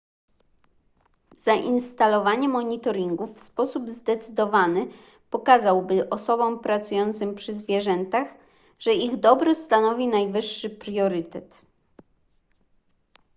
zainstalowanie monitoringu w sposób zdecydowany pokazałby osobom pracującym przy zwierzętach że ich dobro stanowi najwyższy priorytet